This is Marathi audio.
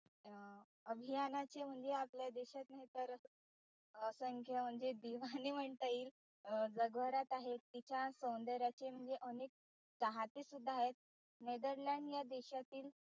अभियानाचे म्हणजे आपल्या देशांतने तर असंख्य म्हणजे दिवाने म्हणता येईल जगभरात आहेत तिच्या सौंदर्याचे म्हणजे अनेक चाहते सुद्धा आहेत. netherland या देशातील